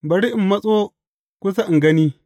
Bari in matso kusa in gani.